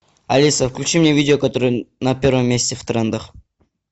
алиса включи мне видео которое на первом месте в трендах